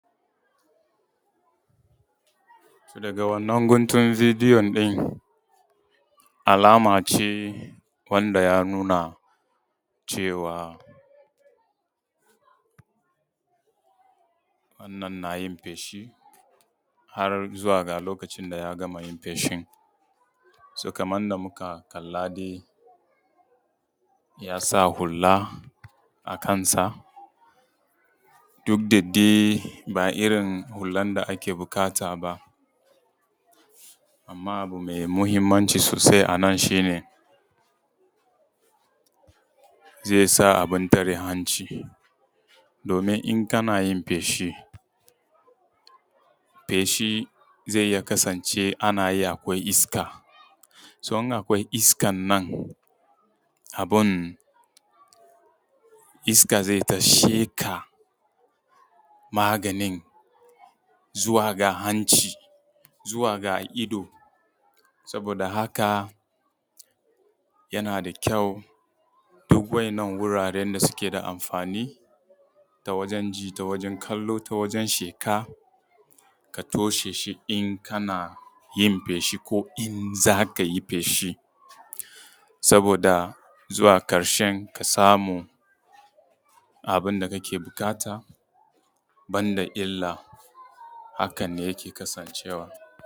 Daga wannan guntun bidiyo ɗin alama ce wanda ya nuna cewa wannan na yin feshi har zuwa ga lokacin da ya gama yin feshin. kamar yanda muka kalla dai yasa hula a kansa duk da dai ba irin hulan da ake buƙata ba, amma abu mai mahimmanci sosai a nan shi ne zai sa abin tare hanci domin in kanayin feshi, feshi zai iya kasance ana yin akwai iska, to in akwai iskan nan abun iska zai ta sheƙa maganin zuwa ga hanci, zuwa ga ido saboda haka yana da kyau duk wa'innan wuraren da suke da amfani da wajan ji, ta wajan kallo, da wajan shaƙa ka toshe shi in kana yin feshi, ko in za ka yi feshi, saboda zuwa ƙarshen ka samu abin da kake buƙata ban da illa. Hakan ne yake kasancewa.